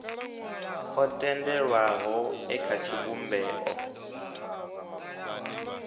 o tendelwaho e kha tshivhumbeo